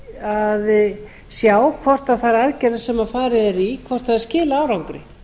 að sjá hvort þær aðgerðir sem farið er í skili árangri